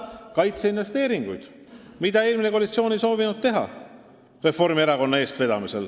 Eelmine koalitsioon Reformierakonna eestvedamisel ei soovinud seda teha.